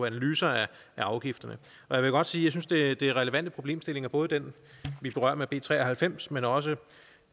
analyser af afgifterne jeg vil godt sige synes det er relevante problemstillinger både den vi berører med b tre og halvfems men også